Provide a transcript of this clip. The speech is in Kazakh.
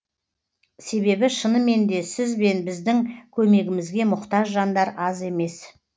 себебі шынымен де сіз бен біздің көмегімізге мұқтаж жандар аз емес